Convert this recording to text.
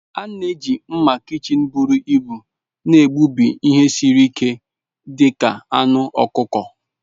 A na-eji mma kichin buru ibu na-egbubi ihe siri ike dị ka anụ ọkụkọ.